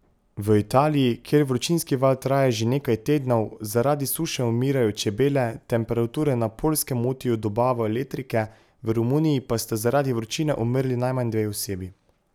V Italiji, kjer vročinski val traja že nekaj tednov, zaradi suše umirajo čebele, temperature na Poljskem motijo dobavo elektrike, v Romuniji pa sta zaradi vročine umrli najmanj dve osebi.